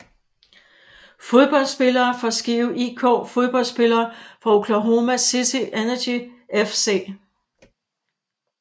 Fodboldspillere fra Skive IK Fodboldspillere fra Oklahoma City Energy FC